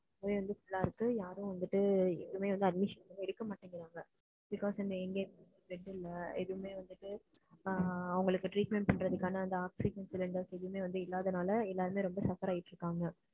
எப்பவே வந்து full அ இருக்கு யாருமே வந்துட்டு எதுமே admission வந்து எடுக்க மாட்டேங்குறாங்க because வந்து எங்க bed இல்ல எதுமே வந்துட்டு ஆஹ் அவங்களுக்கு treatment பண்றதுக்கான oxygen cylinder எதுமே வந்து இல்லாததுனால எல்லாருமே suffer ஆகிட்டு இருகாங்க.